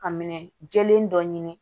Ka minɛ jɛlen dɔ ɲini